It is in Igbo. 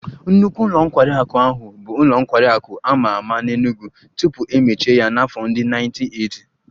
Nnukwu ụlọ nkwari akụ ahụ bụ ụlọ nkwari akụ a ma ama n'Enugwu tupu e mechie ya n'afọ ndị 1980